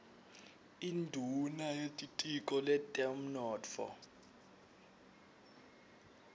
induuna yetitiko letemnotfo